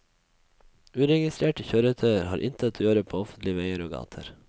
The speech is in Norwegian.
Uregistrerte kjøretøyer har intet å gjøre på offentlige veier og gater.